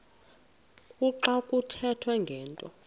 kuxa kuthethwa ngento